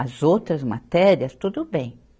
As outras matérias, tudo bem.